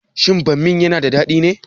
Shin bammin yana da dadi ne?